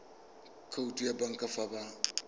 khoutu ya banka fa ba